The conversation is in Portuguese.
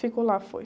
Ficou lá, foi.